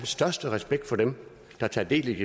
største respekt for dem der tager del i